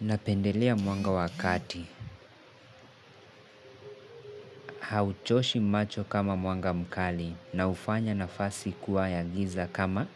Napendelea mwanga wa kati, hauchoshi macho kama mwanga mkali na hufanya nafasi kuwa ya giza kama